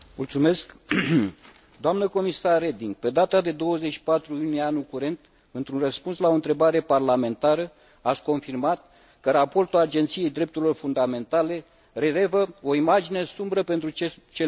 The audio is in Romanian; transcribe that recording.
Pe data de 24 iunie anul curent, într un răspuns la o întrebare parlamentară, ați confirmat că raportul Agenției Drepturilor Fundamentale relevă o imagine sumbră pentru cele 12 milioane de romi din Uniunea Europeană.